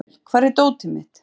Annel, hvar er dótið mitt?